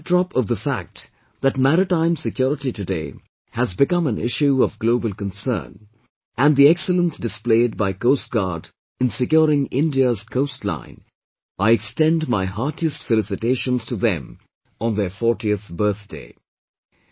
In the backdrop of the fact that maritime security today has become an issue of global concern and the excellence displayed by Coast Guard in securing India's coast line, I extend my heartiest felicitations to them on their 40th birthday